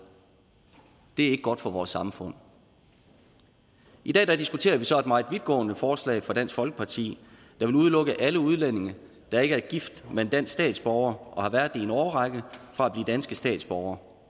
det er ikke godt for vores samfund i dag diskuterer vi så et meget vidtgående forslag fra dansk folkeparti der vil udelukke alle udlændinge der ikke er gift med en dansk statsborger og har været i en årrække fra at blive danske statsborgere